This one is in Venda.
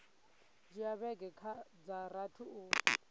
dzhia vhege dza rathi u